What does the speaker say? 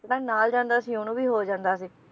ਜਿਹੜਾ ਨਾਲ ਜਾਂਦਾ ਸੀ ਓਹਨੂੰ ਵੀ ਹੋ ਜਾਂਦਾ ਸੀ